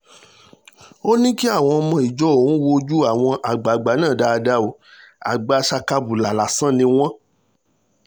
ó ní kí àwọn ọmọ ìjọ òun wo ojú àwọn àgbààgbà náà dáadáa o àgbà sakabula lásán ni wọ́n